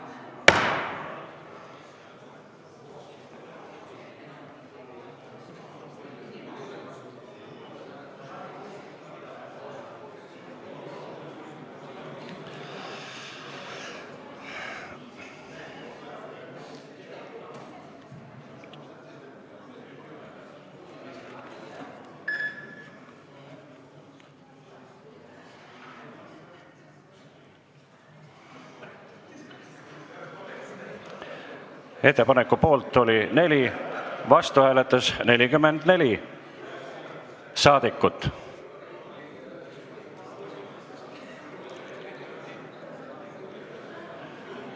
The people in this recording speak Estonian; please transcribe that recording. Hääletustulemused Ettepaneku poolt oli 4, vastu hääletas 44 saadikut.